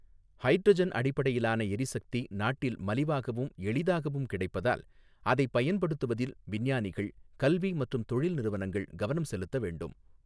Hydrogen அடிப்படையிலான எரிசக்தி நாட்டில் மலிவாகவும், எளிதாகவும் கிடைப்பதால், அதை பயன்படுத்துவதில் விஞ்ஞானிகள், கல்வி மற்றும் தொழில் நிறுவனங்கள் கவனம் செலுத்த வேண்டும்.